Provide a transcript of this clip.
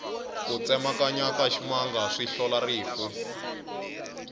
ku tsemakanya ka ximanga swi hlola rifu